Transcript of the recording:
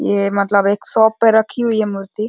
ये मतलब एक शॉप पे रखी हुई है मूर्ति --